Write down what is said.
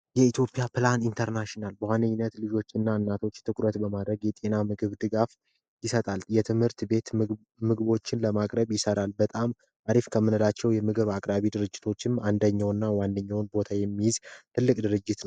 የኢትዮጵያ ፕላን ኢንተርናሽናል የኢትዮጵያ እናቶችና ልጆች የጤና ምግብ ድጋፍ ይሰጣል የትምህርት ቤት ምግቦችን ለማቅረብ ይሠራ በጣም አሪፍ ከምንላቸው የምግብ አቅራቢ ድርጅቶች አንደኛውና ዋንኛውን ቦታ የሚይዝ ትልቅ ድርጅት ነው።